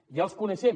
ja els coneixem